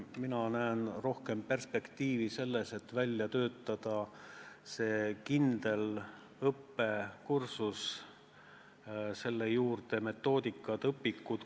Mina näen rohkem perspektiivi selles, et välja töötada kindel õppekursus, selle juurde metoodikad, õpikud.